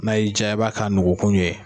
N'a y'i ja i b'a kɛ nogokun ye